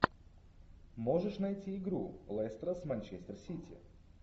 можешь найти игру лестера с манчестер сити